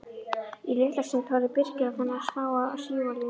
Í litla stund horfði Birkir á þennan smáa sívalning.